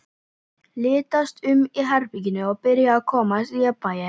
Litaðist um í herberginu og byrjaði að komast í jafnvægi.